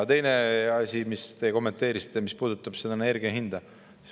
Teine asi, mis te kommenteerisite, puudutab energia hinda.